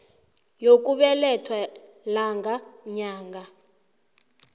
yokubelethwa lang nyang